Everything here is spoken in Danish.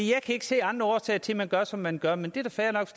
kan ikke se andre årsager til at man gør som man gør men det er da fair nok